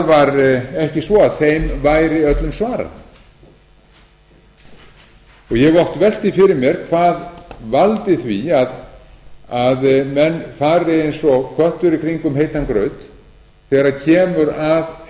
var ekki svo að þeim væri öllum svarað ég hef oft velt því fyrir mér hvað valdi því að menn fari eins og köttur í kringum heitan graut þegar kemur að